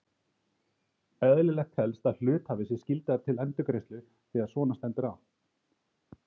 Eðlilegt telst að hluthafi sé skyldaður til endurgreiðslu þegar svona stendur á.